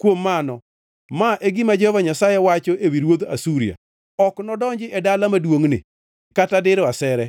“Kuom mano ma e gima Jehova Nyasaye wacho ewi ruodh Asuria: “Ok nodonji e dala maduongʼni kata diro asere.